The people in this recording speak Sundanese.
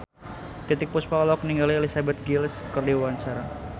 Titiek Puspa olohok ningali Elizabeth Gillies keur diwawancara